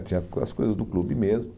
Tinha as coisas do clube mesmo.